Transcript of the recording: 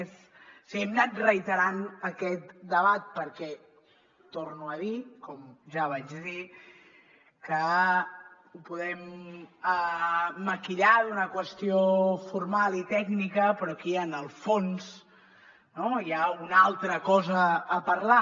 o sigui hem anat reiterant aquest debat perquè ho torno a dir com ja vaig dir ho podem maquillar d’una qüestió formal i tècnica però aquí en el fons no hi ha una altra cosa a parlar